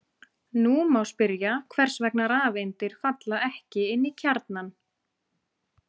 Nú má spyrja hvers vegna rafeindir falla ekki inn í kjarnann.